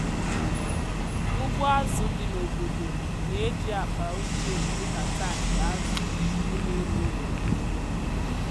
ụgbọ azụ dị n’obodo na-eji akpa ochie dị ka tankị azụ oge erughị eru.